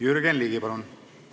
Jürgen Ligi, palun!